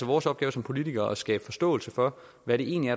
vores opgave som politikere at skabe forståelse for hvad det egentlig